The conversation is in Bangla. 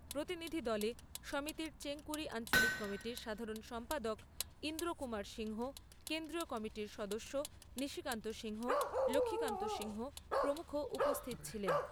প্রতিনিধিদলে সমিতির চেংকুরি আঞ্চলিক কমিটির সাধারণ সম্পাদক ইন্দ্রকুমার সিংহ, কেন্দ্রীয় কমিটির সদস্য নিশিকান্ত সিংহ, লক্ষীকান্ত সিংহ প্রমুখ উপস্থিত ছিলেন।